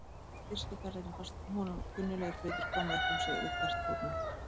Í fyrstu ferðinni fannst honum kunnuglegir hlutir koma upp um sig við hvert fótmál.